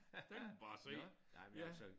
Der kan man bare se ja